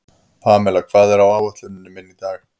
Pamela, hvað er á áætluninni minni í dag?